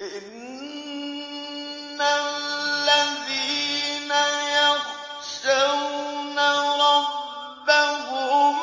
إِنَّ الَّذِينَ يَخْشَوْنَ رَبَّهُم